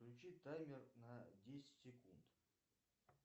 включи таймер на десять секунд